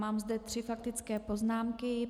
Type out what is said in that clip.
Mám zde tři faktické poznámky.